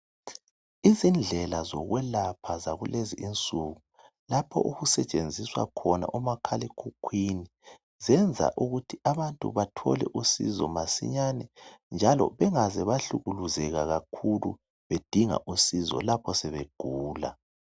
Izindlela zokwelapha zakulezinsuku lapho okusetshenziswa khona omakhalekhukhwini zenza ukuthi abantu bathole usizo masinyane njalo bengaze bahlukuluzeka kakhulu bedinga usizo lapho sebegula